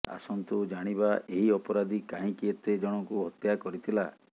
ଆସନ୍ତୁ ଜାଣିବା ଏହି ଅପରାଧୀ କାହିଁକି ଏତେ ଜଣଙ୍କୁ ହତ୍ୟା କରିଥିଲା